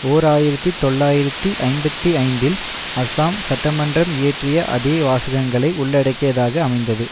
ஓர் ஆயிரத்தி தொள்ளாயிரத்தி ஐம்பத்தி ஐந்தில் அஸ்ஸாம் சட்டமன்றம் இயற்றிய அதே வாசகங்களை உள்ளடக்கியதாக அமைந்தது